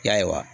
Ya